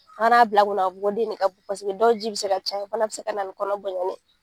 bila kunna ka fɔ ko den ne ka bon paseke dɔw ji bɛ se ka caya o fana bɛ se ka na ni kɔnɔ bonyanni ye.